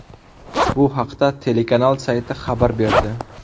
Bu haqda telekanal sayti xabar berdi.